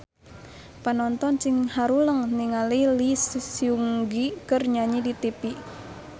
Panonton ting haruleng ningali Lee Seung Gi keur nyanyi di tipi